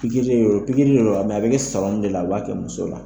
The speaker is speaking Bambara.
Pikiri in a bɛ kɛ ne sɔrɔmu de la u b'a kɛ muso la